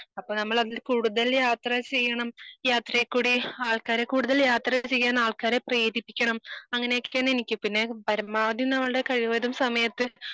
അപ്പൊ നമ്മള് അതിന് കൂടുതൽ യാത്ര ചെയ്യണം. യാത്രയിൽ ക്കൂടി ആൾക്കാരെ കൂടുതൽ യാത്ര ചെയ്യാൻ ആൾക്കാരെ പ്രേരിപ്പിക്കണം. അങ്ങനെ ഒക്കെ തന്നെ എനിക്കും പിന്നെ പരമാവധി നമ്മൾടെ കഴിവതും സമയത്ത്.